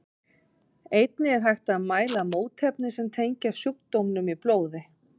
Einnig er hægt að mæla mótefni sem tengjast sjúkdómnum í blóði.